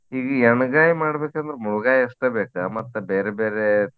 ಈ ಎಣ್ಗಾಯಿ ಮಾಡ್ಬೇಕ ಅಂದ್ರ ಮುಳ್ಳಗಾಯಿ ಅಷ್ಟೆ ಬೇಕ ಮತ್ತ ಬೇರೆ ಬೇರೆ.